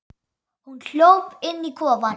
Hún hljóp inn í kofann.